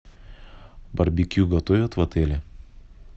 барбекю готовят в отеле